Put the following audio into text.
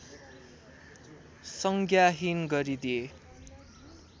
संज्ञाहीन गरिदिए